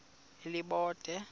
elibode